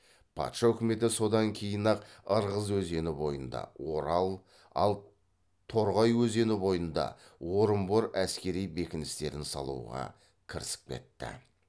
патша үкіметі содан кейін ақ ырғыз өзені бойында орал ал торғай өзені бойында орынбор әскери бекіністерін салуға кірісіп кетті